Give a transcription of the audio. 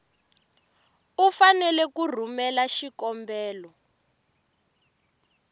u fanele ku rhumela xikombelo